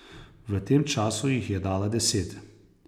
V tem času jih je dala deset.